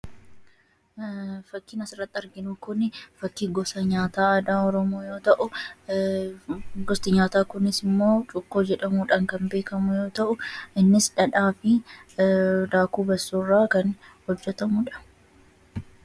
Fakkiin as irratti arginu kun fakkii nyaata aadaa Oromoo yoo ta'u, gosti nyaataa kunis immoo cuukkoo jedhamuudhaan kan beekamudha. Cuukkoon kunis dhaadhaa fi daakuu garbuu yookiin bassoo irraa kan hojjetamudha.